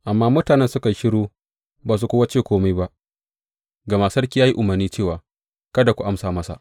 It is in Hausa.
Amma mutanen suka yi shiru ba su kuwa ce kome ba, gama sarki ya yi umarni cewa, Kada ku amsa masa.